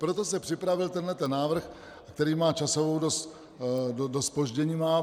Proto se připravil tenhle návrh, který má časově dost zpoždění.